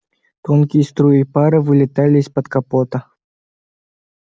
тонкие струи пара вылетали из-под капота